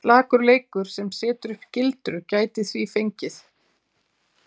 Slakur leikur sem setur upp gildru gæti því fengið?!